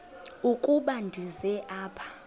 ukuba ndize apha